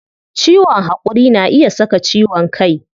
Ciwon hakuri na iya saka ciwon kai